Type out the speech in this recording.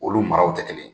Olu maraw tɛ kelen ye